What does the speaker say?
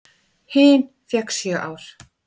Hin fékk sjö ár.